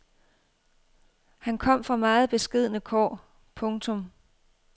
Han kom fra meget beskedne kår. punktum